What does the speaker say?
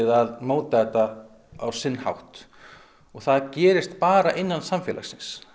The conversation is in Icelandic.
að móta þetta á sinn hátt og það gerist bara innan samfélagsins